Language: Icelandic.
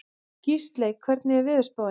Gísley, hvernig er veðurspáin?